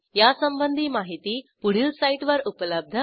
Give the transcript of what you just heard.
यासंबंधी माहिती पुढील साईटवर उपलब्ध आहे